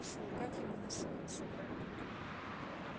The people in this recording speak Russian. фу как ему не совестно